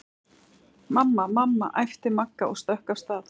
Mamma, mamma æpti Magga og stökk af stað.